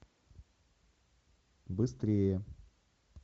быстрее